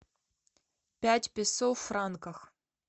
пять песо в франках